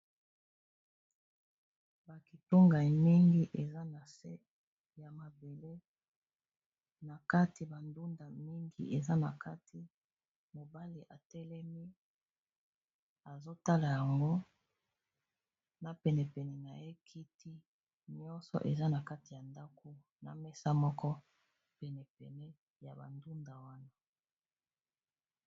Ba kitungai mingi eza na se ya mabele na kati bandunda mingi, eza na kati mobali etelemi azotala yango na penepene na ye kiti nyonso eza na kati ya ndako na mesa moko penepene ya bandunda wana